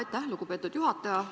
Aitäh, lugupeetud juhataja!